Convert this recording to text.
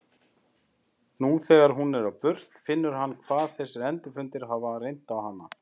Nú þegar hún er á burt finnur hann hvað þessir endurfundir hafa reynt á hann.